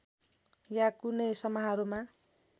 या कुनै समारोहमा